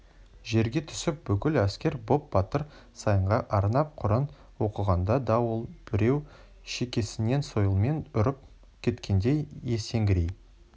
жерге түсіп бүкіл әскер боп батыр саянға арнап құран оқығанда да ол біреу шекесінен сойылмен ұрып кеткендей есеңгірей